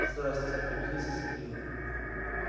здравствуйте обиделся сергей